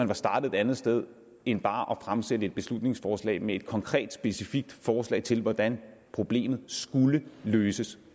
var startet et andet sted end bare at fremsætte et beslutningsforslag med et konkret specifikt forslag til hvordan problemet skulle løses